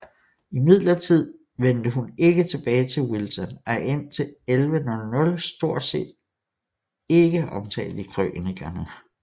Imidlertid vendte hun ikke tilbage til Wilton og er indtil 1100 stort set ikke omtalt i krønikerne